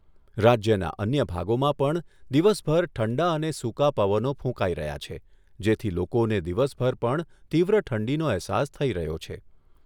રાજ્યના અન્ય ભાગોમાં પણ દિવસભર ઠંડા અને સૂકા પવનો ફૂંકાઈ રહ્યા છે, જેથી લોકોને દિવસભર પણ તીવ્ર ઠંડીનો અહેસાસ થઈ રહ્યો છે.